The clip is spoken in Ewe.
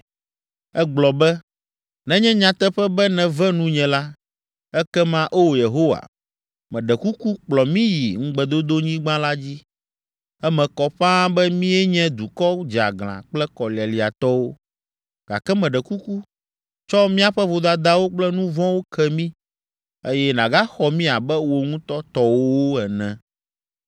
Egblɔ be, “Nenye nyateƒe be nève nunye la, ekema O Yehowa, meɖe kuku kplɔ mí yi Ŋugbedodonyigba la dzi. Eme kɔ ƒãa be míenye dukɔ dzeaglã kple kɔlialiatɔwo, gake meɖe kuku, tsɔ míaƒe vodadawo kple nu vɔ̃wo ke mí, eye nàgaxɔ mí abe wò ŋutɔ tɔwòwo ene.”